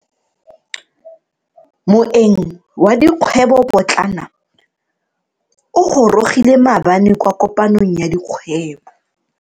Moeng wa dikgwebo potlana o gorogile maabane kwa kopanong ya dikgwebo.